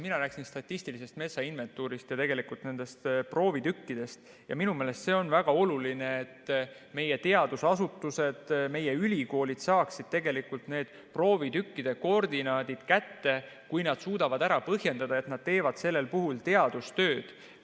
Mina rääkisin statistilisest metsainventuurist ja nendest proovitükkidest ja minu meelest see on väga oluline, et meie teadusasutused, meie ülikoolid saaksid need proovitükkide koordinaadid kätte, kui nad suudavad ära põhjendada, et nad teevad sellel puhul teadustööd.